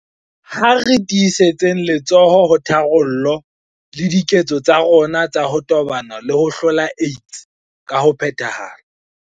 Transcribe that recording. Ha re tiisetseng letsoho ho tharollo le diketso tsa rona tsa ho tobana le ho hlola AIDS ka ho phethahala.